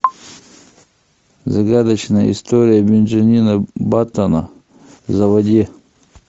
загадочная история бенджамина баттона заводи